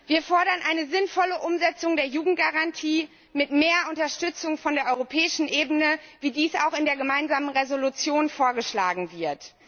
Wir fordern eine sinnvolle Umsetzung der Jugendgarantie mit mehr Unterstützung von der europäischen Ebene, wie dies auch in der gemeinsamen Entschließung vorgeschlagen wird.